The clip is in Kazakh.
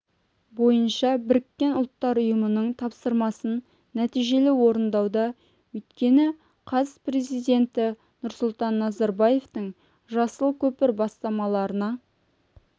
бойынша біріккен ұлттар ұйымының тапсырмасын нәтижелі орындауда өйткені қаз президенті нұрсұлтан назарбаетың жасыл көпір бастамаларына